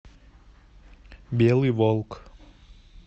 белый волк